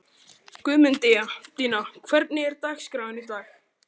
Guðmundína, hvernig er dagskráin í dag?